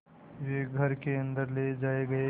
वे घर के अन्दर ले जाए गए